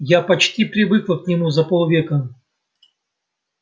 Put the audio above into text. я почти привыкла к нему за полвека